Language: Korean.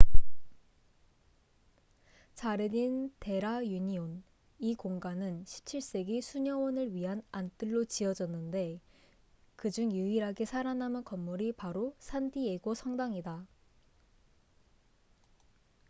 자르딘 데 라 유니온 이 공간은 17세기 수녀원을 위한 안뜰로 지어졌는데 그중 유일하게 살아남은 건물이 바로 산디에고 성당이다